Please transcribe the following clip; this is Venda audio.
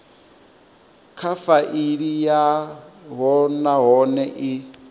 kha faili yavho nahone i